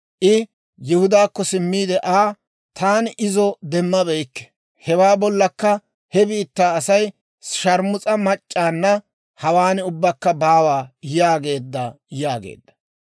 I Yihudaakko simmiide Aa, «Taani izo demmabeykke; hewaa bollakka he biittaa asay, ‹Sharmus'a mac'c'aanna hawaan ubbakka baawaa› yaageedda» yaageedda.